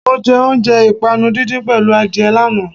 Mọ jẹ oúnjẹ ìpànu díndín pẹ̀lú adìẹ lánàá.